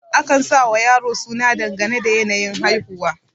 akan sawa yaro suna dangane da yanayin haihuwa